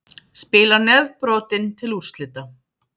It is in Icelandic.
Spilar nefbrotinn til úrslita